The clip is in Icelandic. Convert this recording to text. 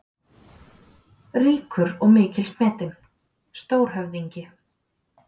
Ríkur og mikils metinn: Stórhöfðingi.